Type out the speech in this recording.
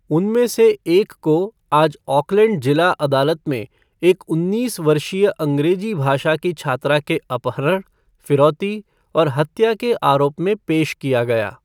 उनमें से एक को आज ऑकलैंड जिला अदालत में एक उन्नीस वर्षीय अंग्रेजी भाषा की छात्रा के अपहरण, फिरौती और हत्या के आरोप में पेश किया गया।